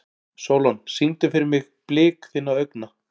Sólon, syngdu fyrir mig „Blik þinna augna“.